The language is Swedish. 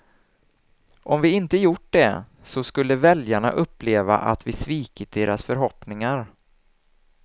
Om vi inte gjort det, så skulle väljarna uppleva att vi svikit deras förhoppningar.